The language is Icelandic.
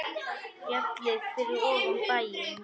LÁRUS: Fjallið fyrir ofan bæinn.